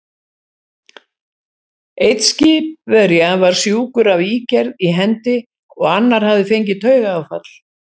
Einn skipverja var sjúkur af ígerð í hendi, og annar hafði fengið taugaáfall.